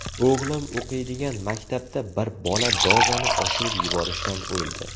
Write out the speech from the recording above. O‘g‘lim o‘qiydigan maktabda bir bola dozani oshirib yuborishdan o‘ldi.